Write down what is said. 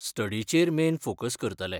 स्टडीचेर main focus करतलें.